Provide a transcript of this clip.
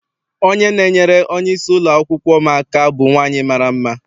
Onye na-enyere onye isi ụlọakwụkwọ m aka bụ nwaanyị mara mma.